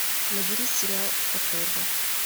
набери сериал оторва